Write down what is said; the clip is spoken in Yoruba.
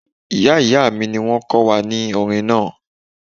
Ìyá ìyá mi ni wọ́n kọ́ wa ní orin náà